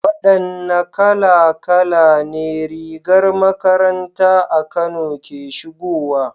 Wadanne kala kala ne rigar makaranta a Kano ke shigowa?